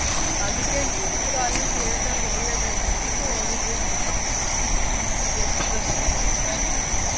ಅದಕ್ಕೆ ಏನಾದ್ರೂ ಆಗ್ಲಿ theatre ಗೆ ಹೋಗ್ಲೇಬೇಕು ಅಂದ್ಬಿಟ್ಟು ಹೋಗಿದ್ವಿ. rush ಇದ್ರುವೆ.